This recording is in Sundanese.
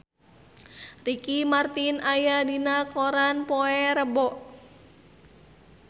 Ricky Martin aya dina koran poe Rebo